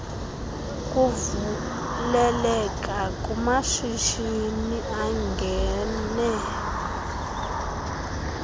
kuvuleleka kumashishini angena